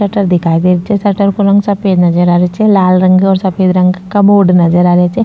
Shutter दिखाई दे रो छे शटर को रंग सफ़ेद नजर आ रेहो छे लाल रंग ओर सफ़ेद रंग का बोर्ड नजर आ रेहो छे।